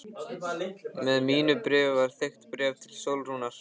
Með mínu bréfi var þykkt bréf til Sólrúnar.